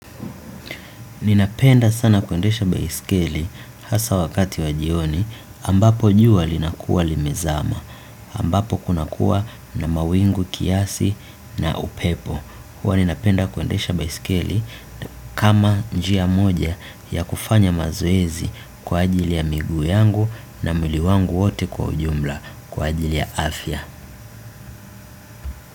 Ninapenda sana kuendesha baisikeli hasa wakati wajioni ambapo jua linakuwa limezama, ambapo kunakua na mawingu kiasi na upepo. Huwa ninapenda kuendesha baisikeli kama njia moja ya kufanya mazoezi kwa ajili ya migu yangu na mwili wangu wote kwa ujumla kwa ajili ya afya.